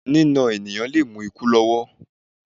Nína èèyàn lé mú ikú lọ́wọ́